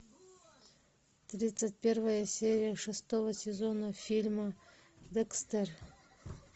тридцать первая серия шестого сезона фильма декстер